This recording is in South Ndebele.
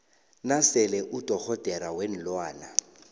nasele udorhodera weenlwana